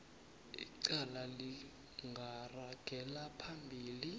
icala lingaragela phambili